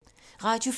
Radio 4